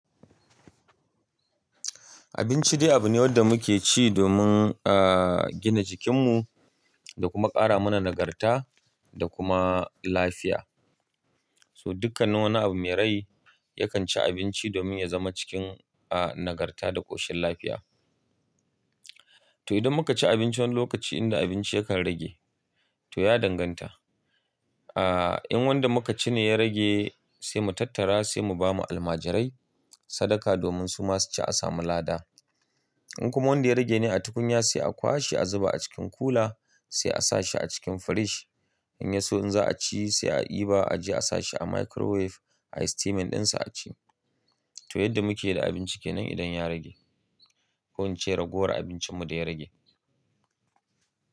Abinci dai abu ne wanda muke ci domin a gina jikinmu da kuma ƙara mana nagarta da kuma lafiya. So dukkan wani abu mai rai yakan ci abinci domin ya zama cikin a nagarta da ƙoshin lafiya. To idan muka ci abinci wani lokaci inda abinci yakan rage to ya danganta. A in wanda muka ci ne ya rage sai mu tattara sai mu ba ma almajirai sadaka domin su masu ci a samu lada. In kuma wanda ya rage ne a tukunya sai a kwashe a zuba a cikin kula sai a sa shi a cikin firij. In yaso in za'a ci sai a ɗiba a je a sa shi a microwave a yi steaming ɗinsa a ci. To yadda muke da abinci kenan idan ya rage. Ko ince ragowar abincinmu da ya rage.